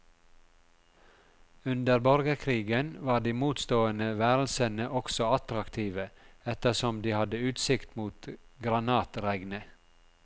Under borgerkrigen var de motstående værelsene også attraktive, ettersom de hadde utsikt mot granatregnet.